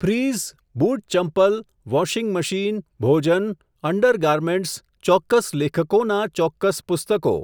Fridge, બૂટ ચંપલ, washing machine, ભોજન, અંડર ગારમેન્ટ્સ, ચોક્કસ લેખકોનાં ચોક્કસ પુસ્તકો.